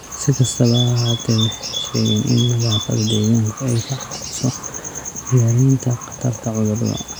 Si kastaba ha ahaatee, waxay sheegeen in nadaafadda deegaanku ay ka caawiso yaraynta khatarta cudurrada.